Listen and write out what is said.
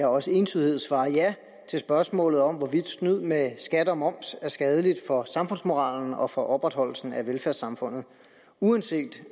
og også entydighed svare ja til spørgsmålet om hvorvidt snyd med skat og moms er skadeligt for samfundsmoralen og for opretholdelsen af velfærdssamfundet uanset